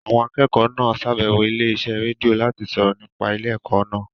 Àwọn akẹ́kọ̀ọ́ náà ṣàbẹ̀wọ̀ ilé iṣẹ́ rédíò láti sọ̀rọ̀ nípa ilé ẹ̀kọ́ náà